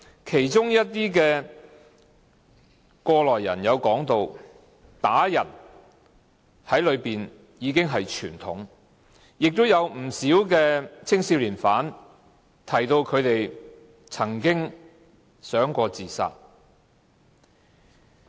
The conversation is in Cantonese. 其中一些過來人說，在懲教所內被人打已經是傳統，亦有不少青少年犯提到他們曾經想過自殺。